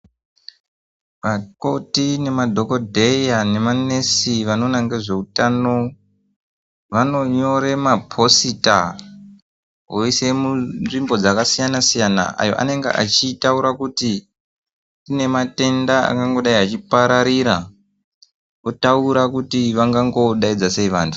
Vakoti nemadhokodheya nemanesi vanoona ngezveutano vanonyore maposita voisa munzvimbo dzakasiyana siyana ayoanenge achitaura kuti kunematenda akangodei achipararira otaura kuti vangangodainza sei vantu.